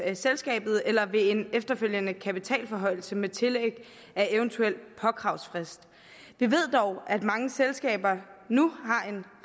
af selskabet eller ved en efterfølgende kapitalforhøjelse med tillæg af eventuel påkravsfrist vi ved dog at mange selskaber nu